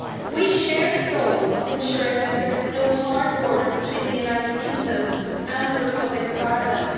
We share the goal of ensuring that there is no hard border between the United Kingdom and the Republic of Ireland.